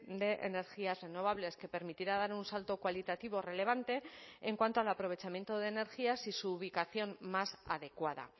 de energías renovables que permitirá dar un salto cualitativo relevante en cuanto al aprovechamiento de energías y su ubicación más adecuada